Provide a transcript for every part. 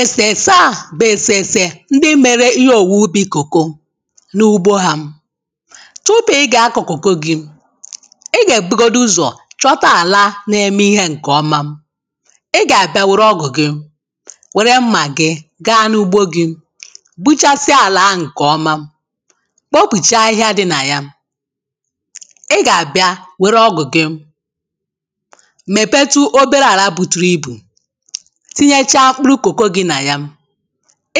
èsèrèse a bụ̀ èsèrèsè ndị mere ịhe ọ̀wụ̀wè ubi cocoa n’ugbo ha tupu ị gà-akọ̀ cocoa gị ị gà-èbugodu ụzọ̀ chọta àla na-eme ihe ǹkè ọma ị gà-àbịa wère ọgụ̀ gị wère mmà gị gaa n’ugbo gị gbuchasịa àlà ahụ̀ ǹkè ọma kpopùchaa ahịhịa dị nà ya ị gà-àbịa wère ọgụ̀ gị mèpetụ ọbere àla bùtùrù ibù tinyechaa mkpụrụ cocoa gị nà ya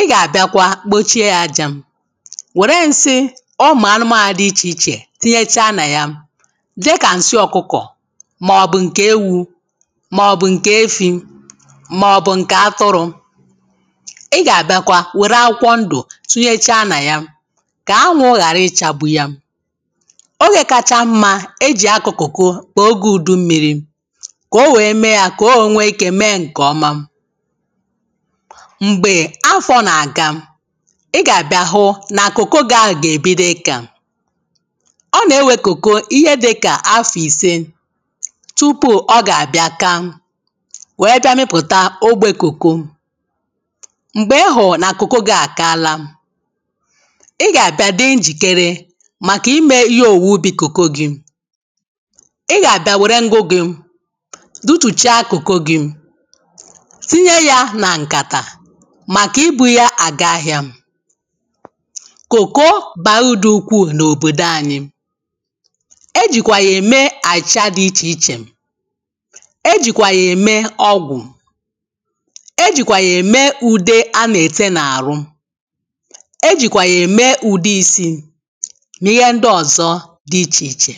ị gà-abịa kwa kpòchie ya aja wère nsi ụmụ̀ anụmànụ̀ dị ichè ichè tinyechaa nà ya dịkà ǹsị ọkụkọ̀ mà ọ̀bụ̀ ǹkè ewu mà ọ̀bụ̀ ǹkè efi mà ọ̀bụ̀ ǹkè atụrụ ị gà-àbịa kwa wère akwụkwọ ndụ̀ tinyechaa nà ya kà anwu ghàra ịchagbu ya oge kaacha mma e jì akọ cocoa bụ̀ oge ùdummịrị kà ọ wee mee ya kà ọ wee nwee ike kà ọ wee mee ǹkè ọma m̀gbè afo nà-àga ị gà-àbịa hụ na cocoa gị ahụ̀ gà-èbido ika ọ nà-ewe cocoa ihe dịkà afọ̀ ìse tupù ọ gà-àbịa kaa wee bịa mipụ̀ta ogbe cocoa m̀gbè ị hùrù nà cocoa gị́ àkala ị gà-àbịa di njikere màkà ímē ɪ́ɦé òwùwè úbī cocoa gɪ́ ị gà-àbịa wèré ngwụ gị dutùchaa cocoa gị tinye ya nà ǹkàtà màkà ibu ya àga ahịa cocoa bàrà urù dị ukwuù n’òbòdò anyị e jì kwà yà ème àchịcha dị ichè ichè e jì kwà yà ème ọgwụ e jì kwà yà ème ùde a na-ete na ahụ e jì kwà yà ème ùde isi nà ịhe ndị ọ̀zọ dị ichè ichè